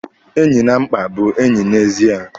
Enyi na mkpa bụ enye n'ezia.